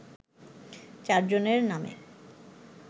চারজনের নামে